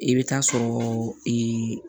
I bɛ taa sɔrɔɔ